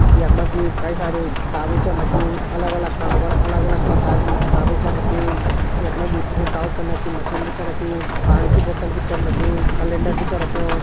यक मजी कई सारी किताबे चन रखीं। अलग अलग खानो पर अलग अलग परकार की किताबे च रखीन। यक मजी प्रिंटआउट करने की मशीन भी च रखी। पाणि की बोतल भी चन रखीं। कलेनडर भी च रख्यों।